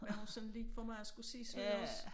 Havde hun sådan lidt for meget skulle sige sådan også